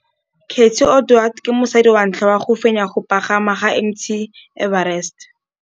Cathy Odowd ke mosadi wa ntlha wa go fenya go pagama ga Mt Everest.